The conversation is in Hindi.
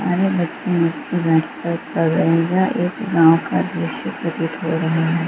सारे बच्चे नीचे बैठ कर पढ़ रहे हैं एक गाँव का दृश्य प्रतीत हो रहा है ।